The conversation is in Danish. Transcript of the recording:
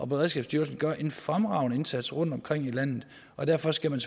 beredskabsstyrelsen gør en fremragende indsats rundtomkring i landet og derfor skal man